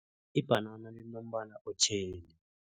Ibhanana linombala otjheli.